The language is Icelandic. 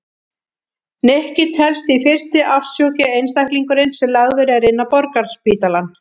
Nikki telst því fyrsti ástsjúki einstaklingurinn sem lagður er inn á Borgarspítalann.